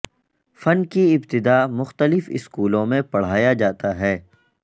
فن کی ابتدا مختلف سکولوں میں پڑھایا جاتا ہے